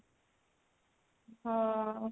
ହଁ